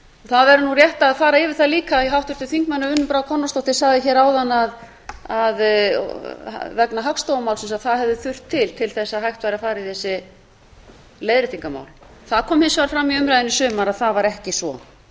það er rétt að fara yfir það líka sem háttvirtur þingmaður unnur brá konráðsdóttir sagði hér áðan vegna hagstofumálsins að það hefði þurft til til að hægt væri að fara yfir þessi leiðréttingamál það kom hins vegar fram í umræðunni í sumar að það var ekki svo